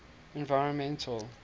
environmental